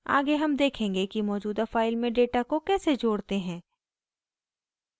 आगे हम देखेंगे कि मौजूदा फाइल में डेटा को कैसे जोड़ते हैं